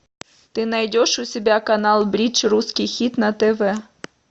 ты найдешь у себя канал бридж русский хит на тв